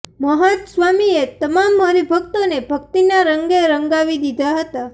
મહંત સ્વામીએ તમામ હરિભક્તોને ભક્તિના રંગે રંગાવી દીધા હતા